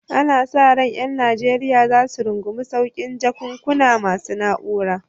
Ana sa ran ƴan Najeriya za su rungumi saukin jakunkuna masu na'ura